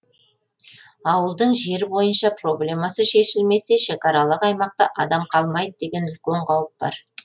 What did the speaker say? ауылдың жер бойынша проблемасы шешілмесе шекаралық аймақта адам қалмайды деген үлкен қауіп бар